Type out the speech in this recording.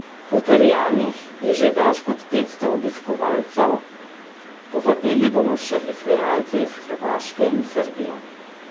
Potrjenih je že več kot petsto obiskovalcev, povabili bomo še izvajalce iz Hrvaške in Srbije.